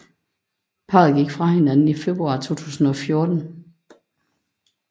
Parret gik fra hinanden i februar 2014